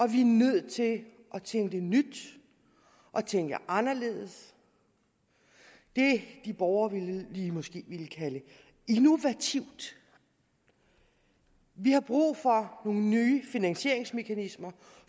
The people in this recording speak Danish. vi er nødt til at tænke nyt og tænke anderledes det de borgerlige måske ville kalde innovativt vi har brug for nogle nye finansieringsmekanismer